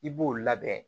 I b'o labɛn